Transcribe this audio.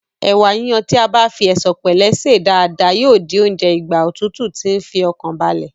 Ẹ̀wà yíyon tí a bá fi ẹ̀sọ̀pẹ̀lẹ́ sè é dáadáa yíò di oúnjẹ ìgbà òtútù tí ń fi ọkàn balẹ̀